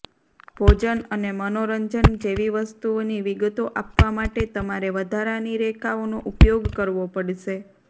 ભોજન અને મનોરંજન જેવી વસ્તુઓની વિગતો આપવા માટે તમારે વધારાની રેખાઓનો ઉપયોગ કરવો પડશે